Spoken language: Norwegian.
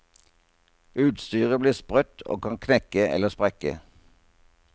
Utstyret blir sprøtt og kan knekke eller sprekke.